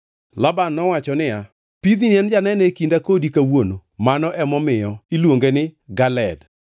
Laban nowacho niya, “Pidhni en janeno e kinda kodi kawuono!” Mano emomiyo iluonge ni Galeed.